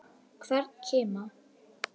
Hvern kima.